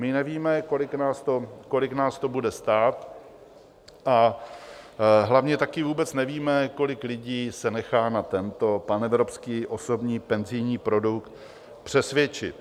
My nevíme, kolik nás to bude stát, a hlavně taky vůbec nevíme, kolik lidí se nechá na tento panevropský osobní penzijní produkt přesvědčit.